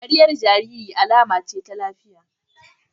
Dariyar jaririn alama ce ta lafiya